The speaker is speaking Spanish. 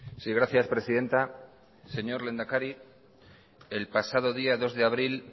sí gracias presidenta señor lehendakari el pasado día dos de abril